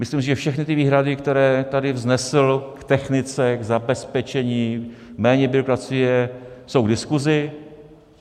Myslím, že všechny ty výhrady, které tady vznesl k technice, k zabezpečení, méně byrokracie jsou k diskusi.